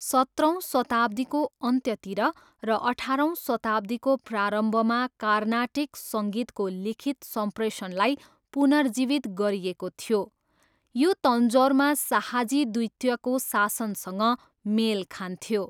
सत्रौँ शताब्दीको अन्त्यतिर र अठारौँ शताब्दीको प्रारम्भमा कार्नाटिक सङ्गीतको लिखित सम्प्रेषणलाई पुनर्जीवित गरिएको थियो। यो तन्जौरमा शाहाजी द्वितीयको शासनसँग मेल खान्थ्यो।